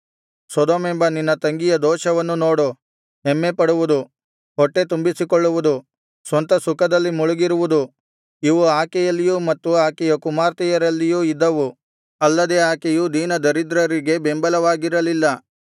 ಸೊದೋಮೆಂಬ ನಿನ್ನ ತಂಗಿಯ ದೋಷವನ್ನು ನೋಡು ಹೆಮ್ಮೆಪಡುವುದು ಹೊಟ್ಟೆತುಂಬಿಸಿಕೊಳ್ಳುವುದು ಸ್ವಂತ ಸುಖದಲ್ಲಿ ಮುಳುಗಿರುವುದು ಇವು ಆಕೆಯಲ್ಲಿಯೂ ಮತ್ತು ಆಕೆಯ ಕುಮಾರ್ತೆಯರಲ್ಲಿಯೂ ಇದ್ದವು ಅಲ್ಲದೆ ಆಕೆಯು ದೀನದರಿದ್ರರಿಗೆ ಬೆಂಬವಾಗಿರಲಿಲ್ಲ